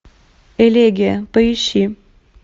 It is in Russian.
элегия поищи